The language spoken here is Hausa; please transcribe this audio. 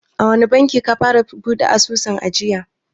A wani banki ka fara buɗe asusun ajiya?